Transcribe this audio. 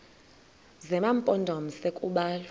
zema mpondomise kubalwa